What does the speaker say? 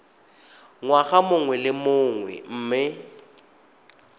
ngwaga mongwe le mongwe mme